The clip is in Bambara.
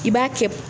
I b'a kɛ